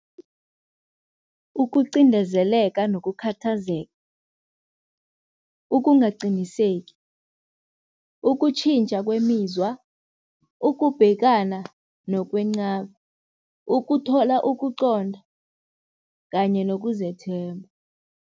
Ukuqindezeleka nokukhathazeka, ukungaqiniseki, ukutjhintjha kwemizwa, ukubhekana nokwenqaba, ukuthola ukuqonda kanye nokuzethemba.